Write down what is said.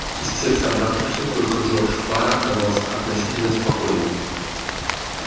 из всех собравшихся только джордж фара казался относительно спокойным